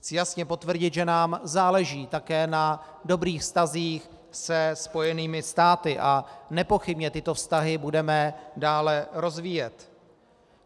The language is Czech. Chci jasně potvrdit, že nám záleží také na dobrých vztazích se Spojenými státy, a nepochybně tyto vztahy budeme dále rozvíjet.